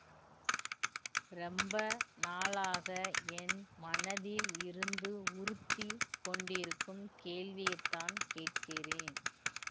ரொம்ப நாளாக என் மனதில் இருந்து உறுத்திக் கொண்டிருக்கும் கேள்வியைத்தான் கேட்கிறேன்